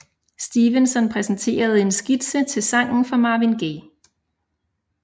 Stevenson præsenterede en skitse til sangen for Marvin Gaye